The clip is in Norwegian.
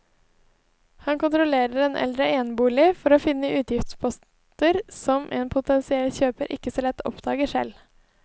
Han kontrollerer en eldre enebolig for å finne utgiftsposter som en potensiell kjøper ikke så lett oppdager selv.